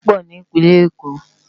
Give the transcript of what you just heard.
Ilé òjá nlá pò ni Ipinlè Ékó